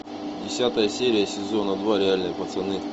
десятая серия сезона два реальные пацаны